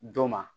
Dɔ ma